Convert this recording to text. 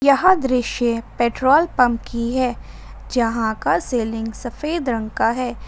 यह दृश्य petrol pump की है जहां का सीलिंग सफेद रंग का है।